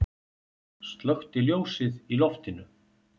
Slökkti ljósið í loftinu.